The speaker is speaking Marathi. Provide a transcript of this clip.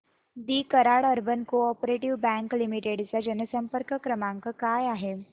दि Karad urban co-op bank limited चा जनसंपर्क क्रमांक काय आहे